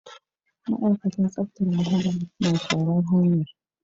Ma'aikatan tsaftar muhalli na shara'n hanya.